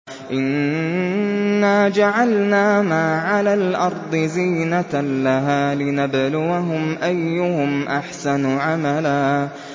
إِنَّا جَعَلْنَا مَا عَلَى الْأَرْضِ زِينَةً لَّهَا لِنَبْلُوَهُمْ أَيُّهُمْ أَحْسَنُ عَمَلًا